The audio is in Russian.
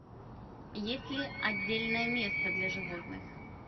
есть ли отдельное место для животных